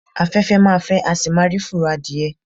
Afẹ́fẹ́ ma fẹ́, a sì má rí fùrọ̀ adìyẹ.